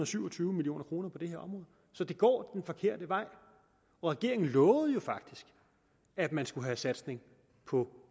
syv og tyve million kroner på det her område så det går den forkerte vej regeringen lovede jo faktisk at man skulle satse på